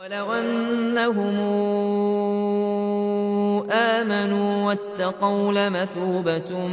وَلَوْ أَنَّهُمْ آمَنُوا وَاتَّقَوْا لَمَثُوبَةٌ